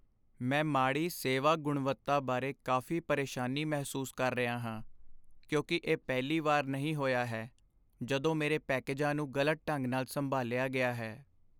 ਮੈਂ ਮਾੜੀ ਸੇਵਾ ਗੁਣਵੱਤਾ ਬਾਰੇ ਕਾਫੀ ਪਰੇਸ਼ਾਨੀ ਮਹਿਸੂਸ ਕਰ ਰਿਹਾ ਹਾਂ, ਕਿਉਂਕਿ ਇਹ ਪਹਿਲੀ ਵਾਰ ਨਹੀਂ ਹੋਇਆ ਹੈ ਜਦੋਂ ਮੇਰੇ ਪੈਕੇਜਾਂ ਨੂੰ ਗ਼ਲਤ ਢੰਗ ਨਾਲ ਸੰਭਾਲਿਆ ਗਿਆ ਹੈ।